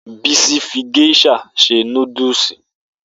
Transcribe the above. Bisi fi geisha se nudulu